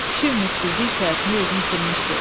Kişi ümidsizlik içərisində özünü itirmişdi.